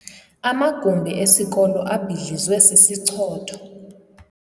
Amagumbi esikolo abhidlizwe sisichotho.